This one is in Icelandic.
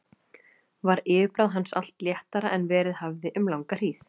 Var yfirbragð hans allt léttara en verið hafði um langa hríð.